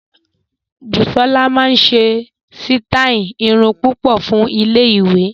Busola máa ṣe sítáì irun púpọ̀ fún iléèwé